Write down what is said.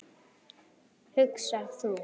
hugsar þú.